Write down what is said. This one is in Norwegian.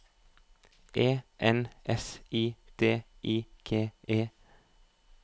E N S I D I G E